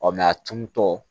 Ɔ a tun tɔ